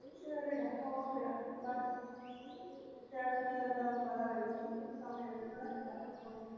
ഷെരീട okay ഡാ bei ചേട്ടൻ എന്താവും വരാൻ വൈകും ഉം സമയയി